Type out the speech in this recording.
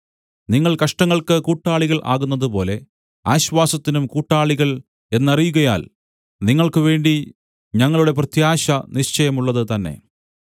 നിങ്ങൾ കഷ്ടങ്ങൾക്ക് കൂട്ടാളികൾ ആകുന്നതുപോലെ ആശ്വാസത്തിനും കൂട്ടാളികൾ എന്നറിയുകയാൽ നിങ്ങൾക്ക് വേണ്ടി ഞങ്ങളുടെ പ്രത്യാശ നിശ്ചയമുള്ളത് തന്നെ